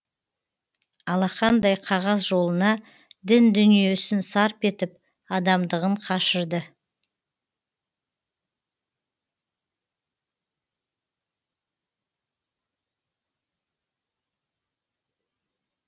алақандай қағаз жолына дін дүниесін сарп етіп адамдығын қашырды